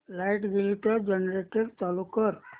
light गेली तर generator चालू कर